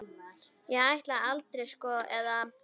Ég ætlaði aldrei, sko, eða.